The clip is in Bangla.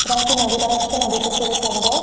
এখানে একটি নদী দেখা যাচ্ছে নদীটি খুবই সুন্দর।